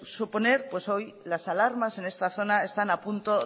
suponer las alarmas en esta zona están a punto